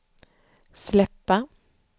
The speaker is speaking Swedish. släppa